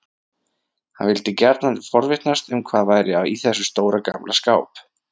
Hann vildi gjarnan forvitnast um hvað væri í þessum stóra, gamla skáp.